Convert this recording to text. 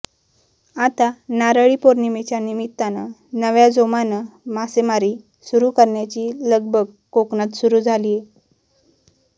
आता नारळी पौर्णिमेच्या निमित्तानं नव्या जोमानं मासेमारी सुरु करण्याची लगबग कोकणात सुरु झालीय